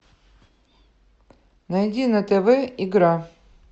найди на тв игра